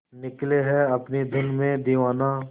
निकले है अपनी धुन में दीवाना